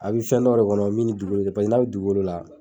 A bi fɛn dɔ le kɔnɔ min ni dugukolo te kelen pase n'a be duguko la